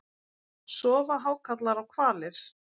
Sofa hákarlar og hvalir?